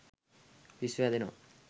පිස්සු හැදෙනවා.